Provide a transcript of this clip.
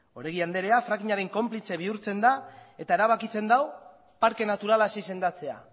oregi andrea fracking aren konplize bihurtzen da eta erabakitzen du parke naturalaz izendatzea